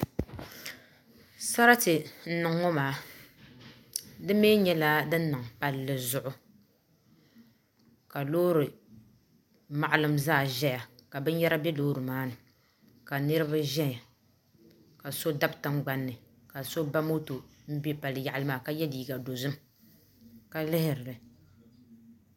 Sarati n niŋ ŋɔ maa di mii nyɛla din niŋ palli zuɣu ka loori maɣalim zaa ʒɛya ka binyɛra bɛ loori maa ni ka niraba ʒɛya ka so dabi tingbanni ka so ba moto n bɛ palli yaɣali maa ka yɛ liiga dozim ka lihiri li